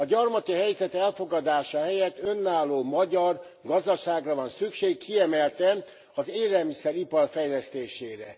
A gyarmati helyzet elfogadása helyett önálló magyar gazdaságra van szükség, kiemelten az élelmiszeripar fejlesztésére.